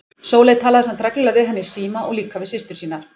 Sóley talaði samt reglulega við hann í síma og líka við systur sínar.